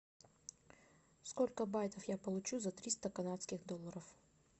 сколько байтов я получу за триста канадских долларов